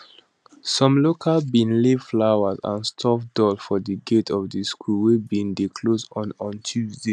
some locals bin lay flowers and stuffed doll for di gate of di school wey bin dey closed on on tuesday